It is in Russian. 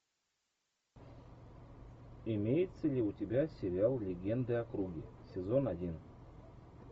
имеется ли у тебя сериал легенды о круге сезон один